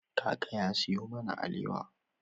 Kaka ya sayo mana alewa.